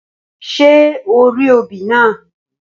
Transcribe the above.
Ṣé orí obì naa?